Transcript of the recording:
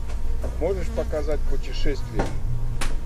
можешь показать путешествия